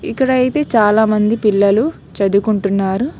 ఇక్కడ అయితే చాలామంది పిల్లలు చదువ్కుంటున్నారు .